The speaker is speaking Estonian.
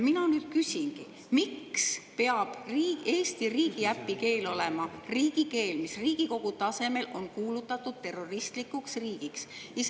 Mina nüüd küsingi: miks peab Eesti riigiäpi keel olema selle riigi keel, mis Riigikogu tasemel on kuulutatud terroristlikuks riigiks?